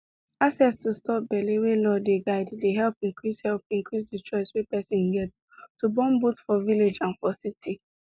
access to stop belle wey law dey guide dey help increase help increase the choice wey person get to bornboth for village and for city